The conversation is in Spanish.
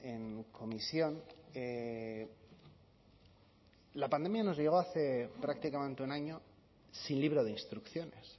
en comisión que la pandemia nos llegó hace prácticamente un año sin libro de instrucciones